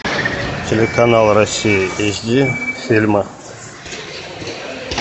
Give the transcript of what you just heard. телеканал россия эйч ди фильмы